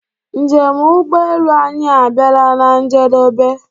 Njem ụgbọ elu anyi abiala na-njedebe.